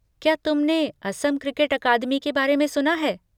क्या तुमने Assam cricket academy के बारे में सुना है?